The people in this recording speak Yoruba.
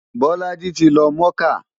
Bolaji ti lọ mọ́kà.